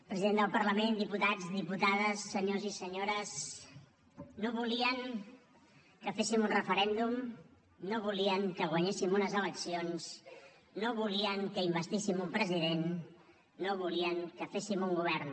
president del parlament diputats diputades senyors i senyores no volien que féssim un referèndum no volien que guanyéssim unes eleccions no volien que investíssim un president no volien que féssim un govern